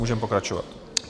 Můžeme pokračovat.